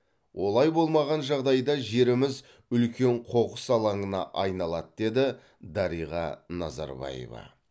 олай болмаған жағдайда жеріміз үлкен қоқыс алаңына айналады деді дариға назарбаева